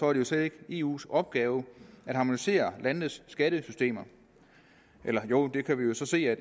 er det slet ikke eus opgave at harmonisere landenes skattesystemer eller jo det kan vi jo så se at